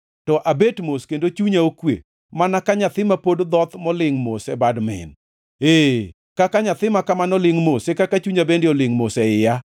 To abet mos kendo chunya okwe; mana ka nyathi ma pod dhoth molingʼ mos e bad min, ee, kaka nyathi ma kamano lingʼ mos, e kaka chunya bende olingʼ mos e iya.